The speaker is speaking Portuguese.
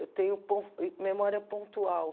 Eu tenho po memória pontual.